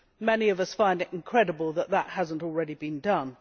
Many of us find it incredible that that has not already been done.